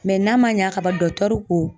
n'a ma ɲɛ kaba dɔkitɛriw ko